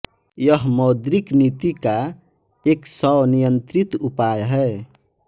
यह मौद्रिक नीति का एक स्वनियंत्रित उपाय है